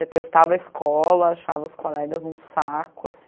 Detestava a escola, achava os colegas um saco assim.